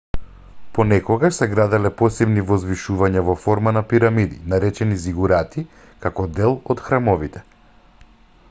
понекогаш се граделе посебни возвишувања во форма на пирамиди наречени зигурати како дел од храмовите